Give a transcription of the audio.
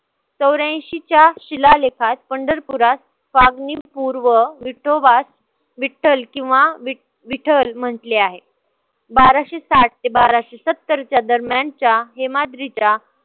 चौऱ्याएंशीच्या शिलालेखात पंढरपूरात फागणीपुर व विठोबास विठ्ठल किंवा विठल म्हंटले आहे. बाराशे साठ ते बाराशे सत्तरच्या दरम्यानच्या हेमाद्रीच्या